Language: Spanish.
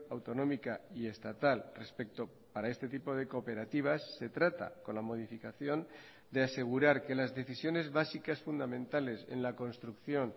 autonómica y estatal respecto para este tipo de cooperativas se trata con la modificación de asegurar que las decisiones básicas fundamentales en la construcción